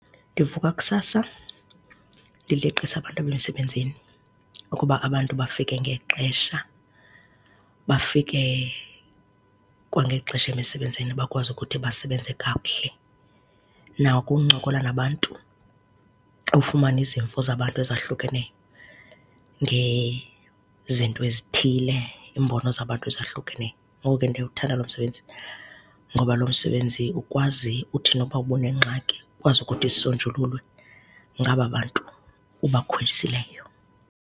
Ndivuka kusasa ndileqise abantu emsebenzini ukuba abantu bafike ngexesha, bafike kwangexesha emisebenzini, bakwazi ukuthi basebenze kakuhle. Nakuncokola nabantu, ufumane izimvo zabantu ezahlukeneyo ngezinto ezithile, iimbono zabantu ezahlukeneyo. Ngoko ke ndiyawuthanda lo msebenzi ngoba lo msebenzi ukwazi uthi noba ubunengxaki ukwazi ukuthi isonjululwe ngaba bantu ubakhwelisileyo.